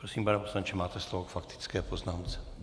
Prosím, pane poslanče, máte slovo k faktické poznámce.